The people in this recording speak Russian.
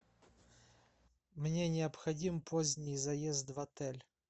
мне необходим поздний заезд в отель